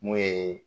Mun ye